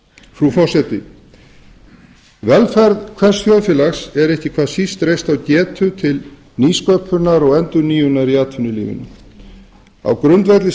frú forseti velferð hvers þjóðfélags er ekki hvað síst reist á getu til nýsköpunar og endurnýjunar í atvinnulífinu á grundvelli